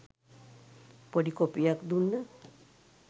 පොඩි කොපියක් දුන්න